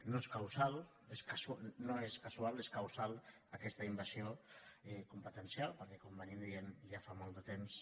no és casual és causal aquesta invasió competen·cial perquè com venim dient ja fa molt de temps